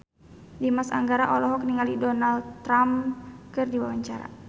Dimas Anggara olohok ningali Donald Trump keur diwawancara